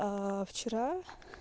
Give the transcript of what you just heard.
вчера